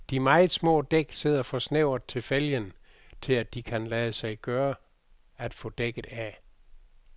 De meget små dæk sidder for snævert til fælgen, til at det kan lade sig gøre at få dækket af.